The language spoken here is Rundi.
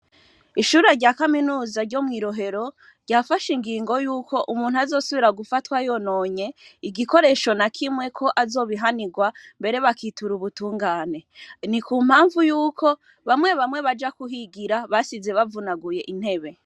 Ishure rya kaminuza ryo mw'irohero ryafashe ingingo yuko umuntu azosubira gufatwa yononye igikoresho na kimwe ko azobihanirwa mbere bakitura ubutungane ni ku mpamvu yuko bamwe bamwe baja kuhigira basize bavunaguye intebe.